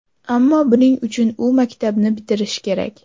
Ammo buning uchun u maktabni bitirishi kerak.